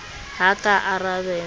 ha a ka a arabela